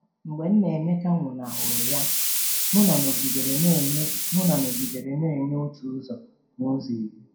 Mgbe Nnaemeka nwụnahụrụ ya, Muna nọgidere na-enye Muna nọgidere na-enye otu ụzọ n'ụzọ iri.